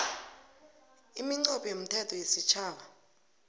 iminqopho yomthetho wesitjhaba